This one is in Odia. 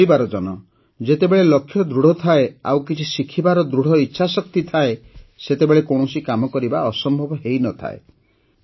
ମୋର ପରିବାରଜନ ଯେତେବେଳେ ଲକ୍ଷ୍ୟ ଦୃଢ଼ ଥାଏ ଆଉ କିଛି ଶିଖିବାର ଦୃଢ଼ ଇଚ୍ଛାଶକ୍ତି ଥାଏ ସେତେବେଳେ କୌଣସି କାମ କରିବା ଅସମ୍ଭବ ହୋଇନଥାଏ